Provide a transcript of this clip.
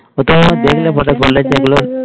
ওটাও আবার দেখলে পরে, বলে যে গুলো